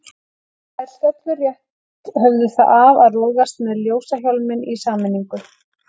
Þær stöllur rétt höfðu það af að rogast með ljósahjálminn í sameiningu.